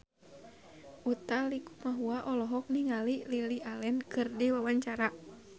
Utha Likumahua olohok ningali Lily Allen keur diwawancara